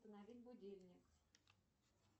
установить будильник